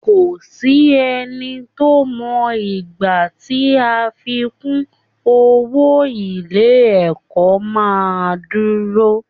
Kò sí ẹni tó mọ ìgbà tí àfikún owó ilé ẹ̀kọ́ máa dúró